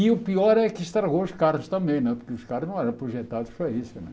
E o pior é que estragou os carros também né, porque os carros não eram projetados para isso né.